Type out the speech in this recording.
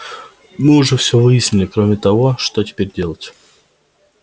мы уже все выяснили кроме того что теперь делать